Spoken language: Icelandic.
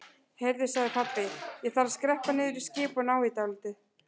Heyrðu sagði pabbi, ég þarf að skreppa niður í skip og ná í dálítið.